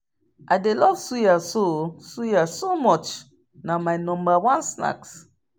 I dey love suya so suya so much, na my number one snacks.